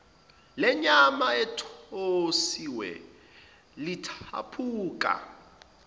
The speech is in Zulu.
lenyama ethosiwe lithaphuka